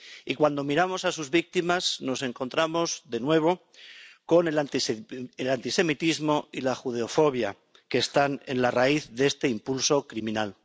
Y cuando miramos a sus víctimas, nos encontramos de nuevo con el antisemitismo y la judeofobia, que están en la raíz de este impulso criminal.